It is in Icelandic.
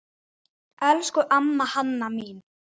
Elsku amma Hanna mín.